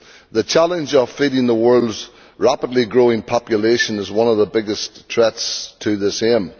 The challenge of feeding the world's rapidly growing population is one of the biggest threats to the same.